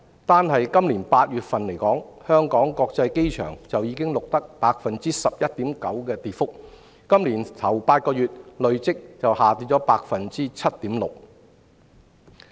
單就今年8月份而言，香港國際機場已錄得 11.9% 的跌幅，今年首8個月則累跌 7.6%。